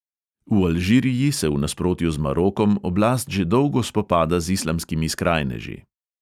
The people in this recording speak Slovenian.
V alžiriji se v nasprotju z marokom oblast že dolgo spopada z islamskimi skrajneži.